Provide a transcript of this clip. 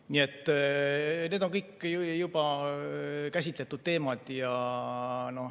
Nii et need on kõik juba käsitletud teemad.